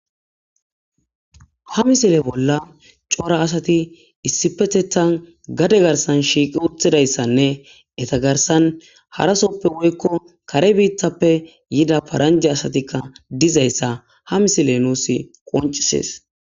Ha misile bolla coora asati issipetethan gade garisan shiqi utidaysanee heta garisan harasope woyiko kare bitape yida paranijey dizaysaka ha misiley nus qoncises